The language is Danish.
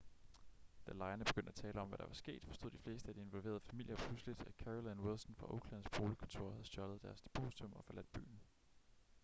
da lejerne begyndte at tale om hvad der var sket forstod de fleste af de involverede familier pludselig at carolyn wilson fra oaklands boligkontor havde stjålet deres depositum og forladt byen